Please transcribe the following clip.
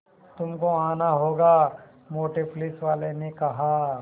तुमको आना होगा मोटे पुलिसवाले ने कहा